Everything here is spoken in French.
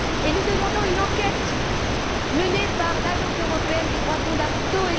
Nous demandons une enquête menée par l'Agence européenne des droits fondamentaux.